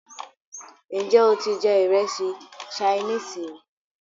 Ǹjẹ́ o ti jẹ ìrẹsì sainíìsì rí?